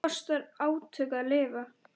Það kostar átök að lifa.